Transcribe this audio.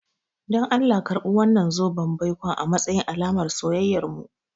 Dan Allah karɓi wannan zoben baikon a matsayin alamar soyayyarmu.